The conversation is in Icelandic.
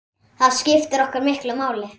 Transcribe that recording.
Það skiptir okkur miklu máli.